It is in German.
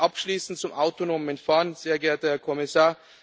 Abschließend zum autonomen Fahren Sehr geehrter Herr Kommissar!